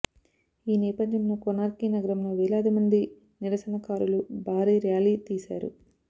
ఈ నేపథ్యంలో కోనార్కీ నగరంలో వేలాది మంది నిరసనకారులు భారీ ర్యాలీ తీశారు